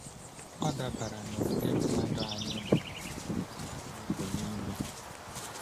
Ọ dabere n’ụdị mmadụ anyị bụ mmadụ anyị bụ n’ime.